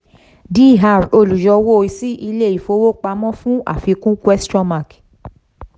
dr olùyọwó sí ilé-ìfowópamọ́ fún àfikún question mark